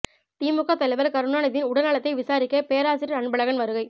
திமுக தலைவர் கருணாநிதியின் உடல் நலத்தை விசாரிக்க பேராசிரியர் அன்பழகன் வருகை